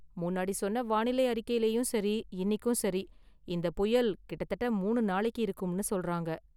முன்னாடி சொன்ன வானிலை அறிக்கைலயும் சரி, இன்னிக்கும் சரி, இந்த புயல் கிட்டதட்ட மூணு நாளைக்கு இருக்கும்னு சொல்றாங்க.